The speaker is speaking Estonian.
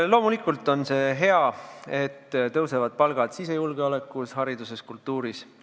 Loomulikult on hea, et tõusevad palgad sisejulgeolekus, hariduses, kultuuris.